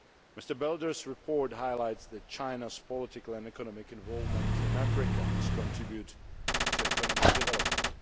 Mr Belder's report highlights the fact that China's political and economic involvement in Africa has contributed to economic development.